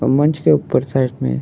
और मंच के ऊपर साइड में --